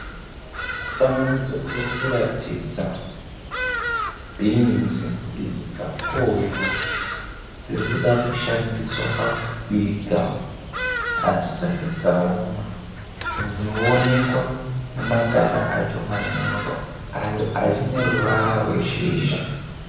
Mufananidzo uri kuratidza bhinzi idzi dzakohwewa. Dziri kuda kushandiswa pakubika adzisati dzaoma dzinoonekwa nemakanda acho manyoro achine ruvara rweshizha.